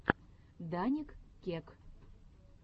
даник кек